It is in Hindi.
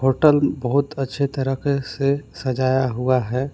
होटल बहुत अच्छे तरीके से सजाया हुआ है।